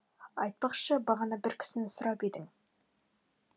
айтпақшы бағана бір кісіні сұрап едің